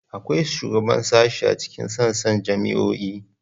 Akwai shugaban sashe a cikin sassan jami'o'i.